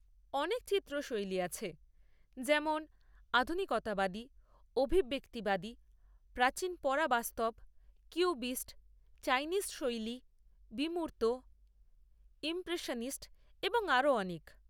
অনেক চিত্র শৈলী আছে, যেমন আধুনিকতাবাদী, অভিব্যক্তিবাদী, প্রাচীন, পরাবাস্তব, কিউবিস্ট, চাইনিজ শৈলী, বিমূর্ত, ইমপ্রেশনিস্ট এবং আরও অনেক।